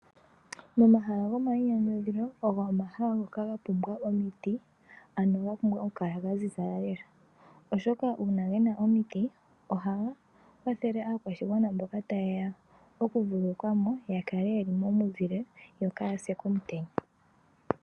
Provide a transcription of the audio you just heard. Momahala gomayinyanyudho ogo omahala ngoka gapumbwa omiti ano gapumbwa okukala gaziza nawa ,oshoka ohaga kwathele aakwashigwana mboka tayeya oku vululukwamo yakale yeli momuzile yo kayase komutenya